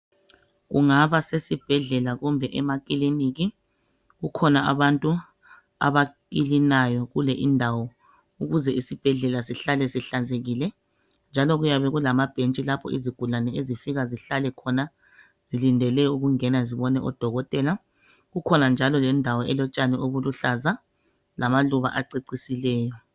Ungaba sesesibhedlela kumbe emakliniki , kukhona abantu abaklinayo kule indawo ukuze isibhedlela sihlale zihlanzekile njalo kuyabe kulamabhentshi lapho izigulane ezigula zihlale khona zilindele ukungena zibone odokotela , ikhona njalo lendawo elotshani obuluhlaza lamaluba acecisileyo